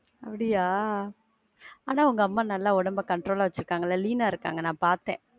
அப்படியா? ஆனா உங்க அம்மா உடம்ப நல்ல control ஆ வச்சிர்காங்க ல, lean ஆ இருக்காங்க, நான் பாத்தேன்.